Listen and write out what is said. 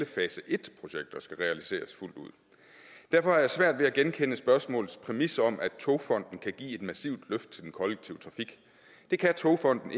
fase et skal realiseres fuldt ud derfor har jeg svært ved at genkende spørgsmålets præmisser om at togfonden dk kan give et massivt løft til den kollektive trafik det kan togfonden